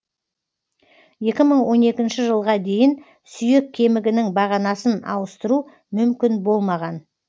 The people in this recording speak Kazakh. екі мың он екінші жылға дейін сүйек кемігінін бағанасын ауыстыру мүмкін болмаған